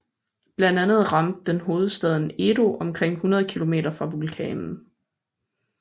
Blandt andet ramte den hovedstaden Edo omkring 100 km fra vulkanen